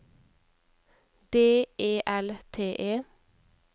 D E L T E